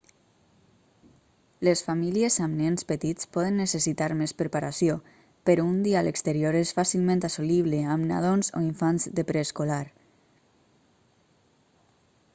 les famílies amb nens petits poden necessitar més preparació però un dia a l'exterior és fàcilment assolible amb nadons o infants de preescolar